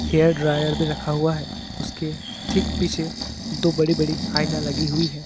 Hair dryer भी रखा हुआ है उसके ठीक पीछे दो बड़ी बड़ी आईना लगी हुई है।